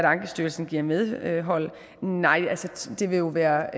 ankestyrelsen giver medhold nej det vil jo være